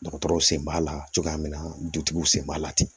Dɔgɔtɔrɔw sen b'a la cogoya min na dutigiw sen b'a la ten